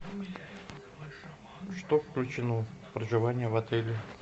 что включено в проживание в отеле